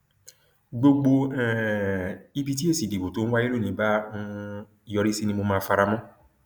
gbogbo um ibi tí èsì ìdìbò tó ń wáyé lónìí bá um yọrí sí ni mo máa fara mọ